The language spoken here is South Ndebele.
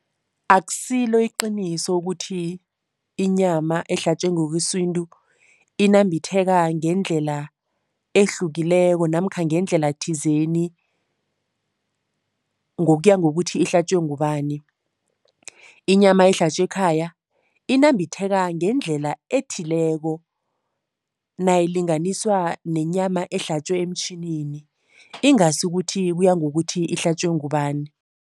Akusilo iqiniso ukuthi inyama ehlatjwe ngokwesintu inambitheka ngendlela ehlukileko namkha ngendlela thizeni ngokuya ngokuthi ihlatjwe ngubani. Inyama ehlatjwa ekhaya inambitheka ngendlela ethileko nayilinganiswa nenyama ehlatjwa emtjhinini, ingasi ukuthi kuya ngokuthi ihlatjwe ngubani.